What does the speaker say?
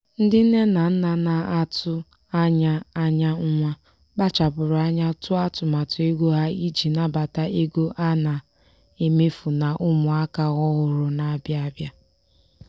ndị nne na nna na-atụ anya anya nwa kpachapụrụ anya tụọ atụmatụ ego ha iji nabata ego a na-emefụ na ụmụ aka ọhụrụ na-abịa abịa.